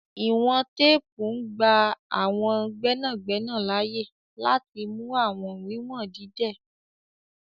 Iwọn tèèpu ngba àwọn gbẹnagbẹna laaye lati mú àwọn wiwọn dídẹ̀.